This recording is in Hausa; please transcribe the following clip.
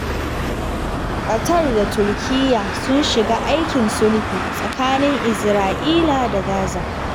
Qatar da Turkiyya sun shiga aikin sulhu tsakanin Isra'ila da Gaza.